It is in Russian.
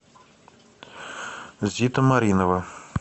зита маринова